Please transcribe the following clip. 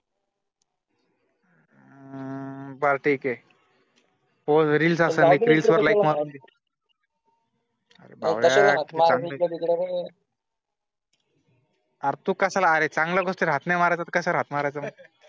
ब्र ठीक ए. तो reels असेल reels वर like मार अरे भावड्या , अर तू कशाला अरे चांगल्या गोष्टीला हाक नाय मारायचा तर कशाला हाक मारायचा मग